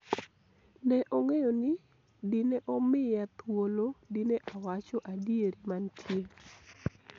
ne ong'eyo ni dine omiya thuolo dine awacho adieri mantie